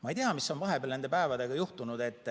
Ma ei tea, mis on vahepeal nende päevadega juhtunud.